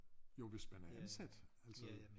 Jo hvis man er ansat altså